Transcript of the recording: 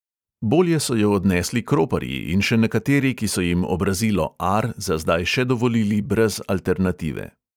Bolje so jo odnesli kroparji in še nekateri, ki so jim obrazilo -ar za zdaj še dovolili brez alternative.